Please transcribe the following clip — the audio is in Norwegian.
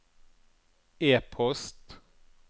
e-post